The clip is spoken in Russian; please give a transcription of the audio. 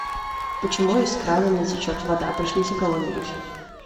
почему из крана не течет вода пришлите кого нибудь